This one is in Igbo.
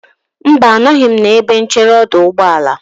Mba, anọghị m n'ebe nchere ọdụ ụgbọelụ.